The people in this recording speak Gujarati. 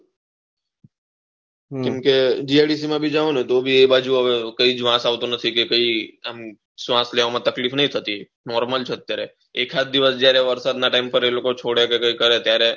હમમ કેમ કે GIDC માં ભી જાવ ને તો ભી એ બાજુ હવે કાયિક વાસ આવતો નથી કે ભાઈ એમ શ્વાસ લેવાના માં તકલીફ નહી થથી નોર્મલ છે અત્યારે એક આજ દિવસ જયારે વરસાદ ના ટાયમ પર એ લોકો છોડે કે કરે ત્યારે